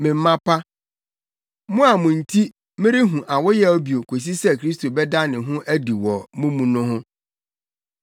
Me mma pa, mo a mo nti merehu awoyaw bio kosi sɛ Kristo bɛda ne ho adi wɔ mo mu no,